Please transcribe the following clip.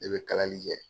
Ne bɛ kalali kɛ